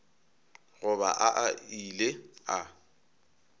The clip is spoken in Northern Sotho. go ba a ile a